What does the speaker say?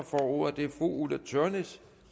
får ordet er fru ulla tørnæs